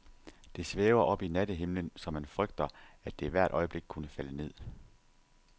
Det svæver oppe i nattehimlen, så man frygter, at det hvert øjeblik kunne falde ned.